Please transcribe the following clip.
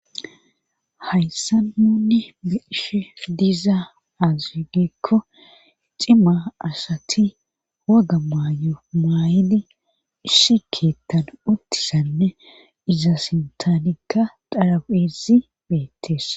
hayssa nunne meeshe diiza asi diikko cima asati woga may'o maayidi isi keethan uttisanne iza sintanika dharaphezi beettes